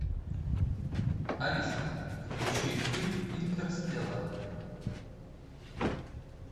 алиса включи фильм интерстеллар